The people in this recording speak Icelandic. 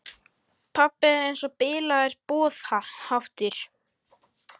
Pabbi er eins og bilaður boðháttur.